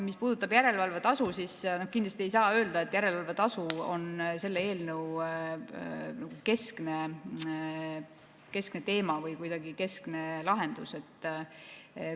Mis puudutab järelevalvetasu, siis kindlasti ei saa öelda, et järelevalvetasu on selle eelnõu keskne teema või kuidagi keskne lahendus.